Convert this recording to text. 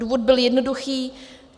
Důvod byl jednoduchý.